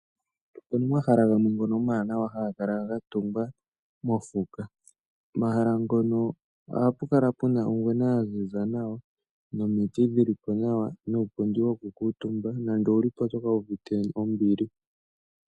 Omahala ngono omanawa ngoka haga kala gatungwa mofuka, omahala ngono ohapu kala pena ongwena ya ziza nawa nomiti dhilipo nawa nuupundi woku kutumba nande owulipo otokala wu uvite ombili